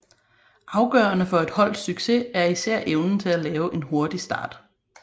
Afgørende for et holds succes er især evnen til at lave en hurtig start